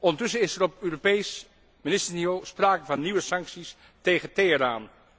Ondertussen is er op Europees ministersniveau sprake van nieuwe sancties tegen Teheran.